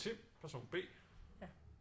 Tim person B